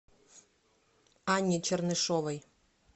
анне чернышовой